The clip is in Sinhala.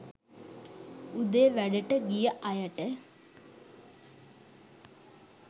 උදේ වැඩට ගිය අයට